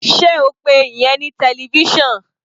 Sé o pe ìyẹn ní television?